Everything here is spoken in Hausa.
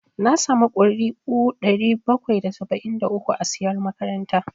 Na samu ƙuri'u ɗari bakwai da saba'in da uku a siyar makaranta